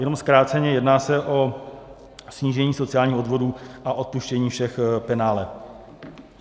Jenom zkráceně, jedná se o snížení sociálních odvodů a odpuštění všech penále.